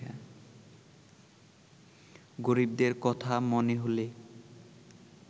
গরিবদের কথা মনে হ’লে